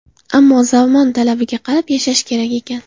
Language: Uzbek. Ammo zamon talabiga qarab yashash kerak ekan”.